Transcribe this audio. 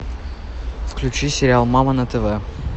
включи сериал мама на тв